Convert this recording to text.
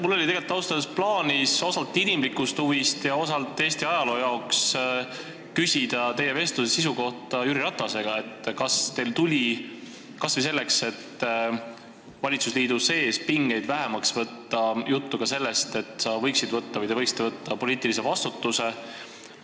Mul oli tegelikult ausalt öeldes plaanis osalt inimlikust huvist ja osalt Eesti ajaloo huvides küsida teie ja Jüri Ratase vestluse sisu kohta: et kas teil tuli kas või selleks, et valitsusliidu sees pingeid vähemaks võtta, juttu ka sellest, et te võiksite võtta poliitilise vastutuse?